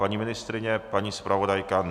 Paní ministryně, paní zpravodajka?